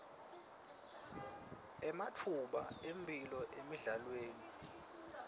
ematfuba emphilo emidlalweni